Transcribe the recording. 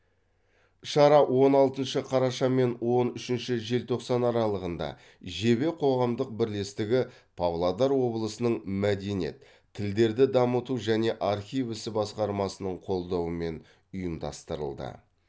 шара он алтыншы қараша мен он үшінші желтоқсан аралығында жебе қоғамдық бірлестігі павлодар облысының мәдениет тілдерді дамыту және архив ісі басқармасының қолдауымен ұйымдастырылды